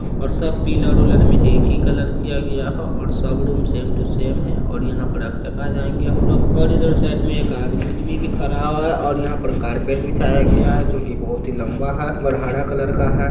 और सब पिलर उलर मे एक ही कलर किया गया है और सब रूम सेम टू सेम है और यहाँ पर आ के चकरा जायेंगे हमलोग और इधर साइड में एक आदमी उदमी भी खड़ा हुआ है और यहाँ पर कार्पेट बिछाया गया है जो की बहोत ही लंबा है और हरा कलर का है।